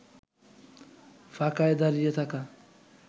ফাঁকায় দাড়িয়ে থাকা